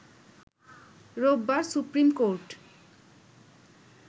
রোববার সুপ্রিমকোর্ট